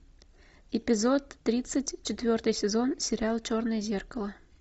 эпизод тридцать четвертый сезон сериала черное зеркало